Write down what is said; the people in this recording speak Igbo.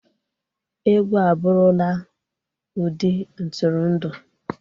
Egwu abụrụla ụdị ntụrụndụ.